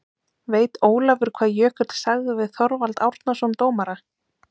Veit Ólafur hvað Jökull sagði við Þorvald Árnason dómara?